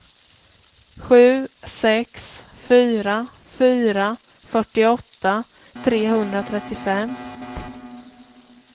sju sex fyra fyra fyrtioåtta trehundratrettiofem